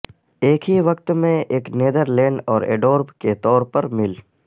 ایک ہی وقت میں ایک نیدرلینڈ اور ایڈورب کے طور پر مل